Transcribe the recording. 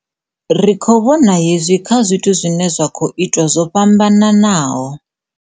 Ri khou vhona hezwi kha zwithu zwine zwa khou itwa zwo fhambanaho.